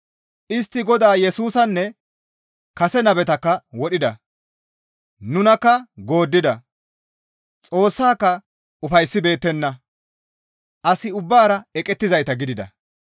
Istti Godaa Yesusanne kase nabetakka wodhida; nunakka gooddida; Xoossaaka ufayssibeettenna; as ubbaara eqettizayta gidida.